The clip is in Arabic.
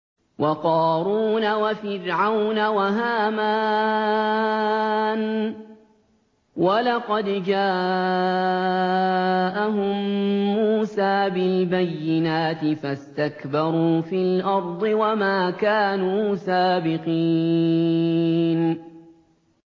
وَقَارُونَ وَفِرْعَوْنَ وَهَامَانَ ۖ وَلَقَدْ جَاءَهُم مُّوسَىٰ بِالْبَيِّنَاتِ فَاسْتَكْبَرُوا فِي الْأَرْضِ وَمَا كَانُوا سَابِقِينَ